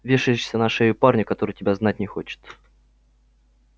вешаешься на шею парню который тебя знать не хочет